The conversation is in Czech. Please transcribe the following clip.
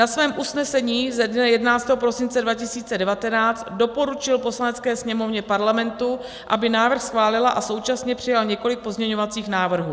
Na svém usnesení ze dne 11. prosince 2019 doporučil Poslanecké sněmovně Parlamentu, aby návrh schválila, a současně přijal několik pozměňovacích návrhů.